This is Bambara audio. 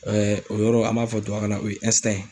o yɔrɔ an b'a fɔ tubabukan na o ye